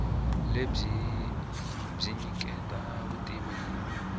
lebyi byi nyiketa vutivi hi